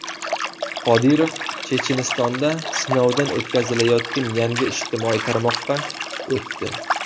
Qodirov Chechenistonda sinovdan o‘tkazilayotgan yangi ijtimoiy tarmoqqa o‘tdi.